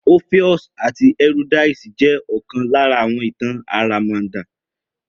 Orpheus àti euroydice jẹ́ òkan lára ìtàn àràmàndà